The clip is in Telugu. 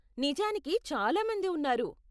నిజానికి చాలా మంది ఉన్నారు.